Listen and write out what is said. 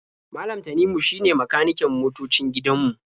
Malam Tanimu shine makaniken motoocin gidan mu.